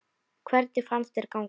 Hvernig fannst þér ganga?